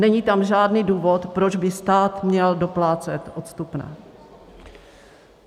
Není tam žádný důvod, proč by stát měl doplácet odstupné.